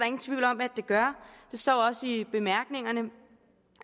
ingen tvivl om at det gør det står også i bemærkningerne